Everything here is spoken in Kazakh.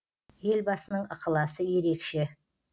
елбасының ықыласы ерекше